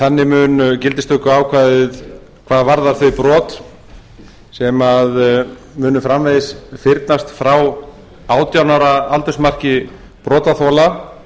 þannig mun gildistökuákvæðið hvað varðar þau brot sem munu framvegis fyrnast frá átján ára aldursmarki brotaþola